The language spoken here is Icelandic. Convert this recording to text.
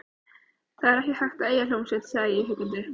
Það er ekki hægt að eiga hljómsveit, sagði ég huggandi.